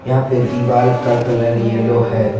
यहां पे दीवाल का कलर येलो है।